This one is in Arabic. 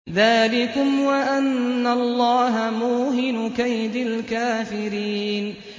ذَٰلِكُمْ وَأَنَّ اللَّهَ مُوهِنُ كَيْدِ الْكَافِرِينَ